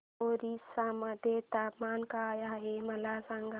ओरिसा मध्ये तापमान काय आहे मला सांगा